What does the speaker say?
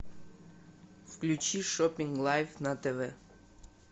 включи шопинг лайф на тв